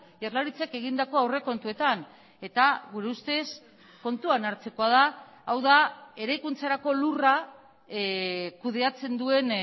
jaurlaritzak egindako aurrekontuetan eta gure ustez kontuan hartzekoa da hau da eraikuntzarako lurra kudeatzen duen